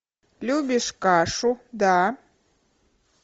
любишь кашу да